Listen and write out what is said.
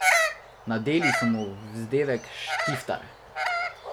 Nadeli so mu vzdevek Štiftar.